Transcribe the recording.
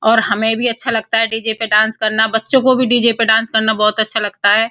और हमें भी अच्छा लगता है डीजे पर डांस करना और बच्चों को भी डीजे पे डांस करना बोहोत अच्छा लगता है।